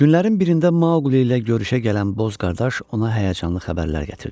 Günlərin birində Maqli ilə görüşə gələn Boz qardaş ona həyəcanlı xəbərlər gətirdi.